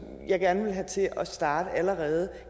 jeg gerne ville have til at starte allerede